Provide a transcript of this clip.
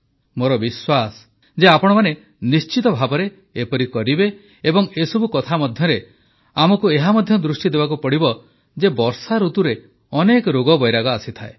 ମୋର ବିଶ୍ୱାସ ଯେ ଆପଣମାନେ ନିଶ୍ଚିତଭାବେ ଏପରି କରିବେ ଏବଂ ଏସବୁ କଥା ମଧ୍ୟରେ ଆମକୁ ଏହା ମଧ୍ୟ ଦୃଷ୍ଟି ଦେବାକୁ ପଡ଼ିବ ଯେ ବର୍ଷାଋତୁରେ ଅନେକ ରୋଗ ଆସିଥାଏ